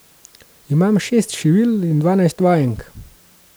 Imam šest šivilj in dvanajst vajenk.